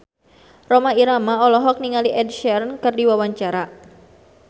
Rhoma Irama olohok ningali Ed Sheeran keur diwawancara